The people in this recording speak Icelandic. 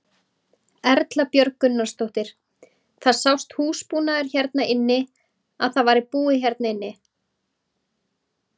Erla Björg Gunnarsdóttir: Það sást húsbúnaður hérna inni að það væri búið hérna inni?